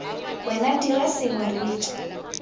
wena dira sengwe re tswe